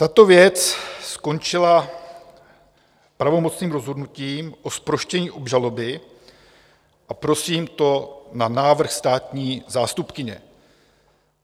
Tato věc skončila pravomocným rozhodnutím o zproštění obžaloby, a prosím, to na návrh státní zástupkyně.